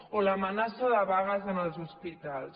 o l’amenaça de vagues en els hospitals